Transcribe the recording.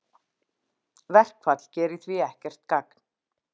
Verkfall gerir því ekkert gagn